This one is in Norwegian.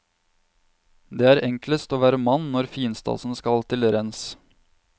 Det er enklest å være mann når finstasen skal til rens.